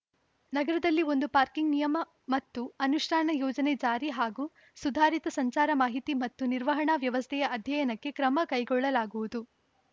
ನಗರಗಳಲ್ಲಿ ಒಂದು ಪಾರ್ಕಿಂಗ್‌ ನಿಯಮ ಮತ್ತು ಅನುಷ್ಠಾನ ಯೋಜನೆ ಜಾರಿ ಹಾಗು ಸುಧಾರಿತ ಸಂಚಾರ ಮಾಹಿತಿ ಮತ್ತು ನಿರ್ವಹಣಾ ವ್ಯವಸ್ಥೆಯ ಅಧ್ಯಯನಕ್ಕೆ ಕ್ರಮ ಕೈಗೊಳ್ಳಲಾಗುವುದು